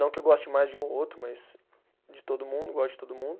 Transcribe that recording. não que eu goste mais de um ou outro, mas de todo mundo, gosto de todo mundo.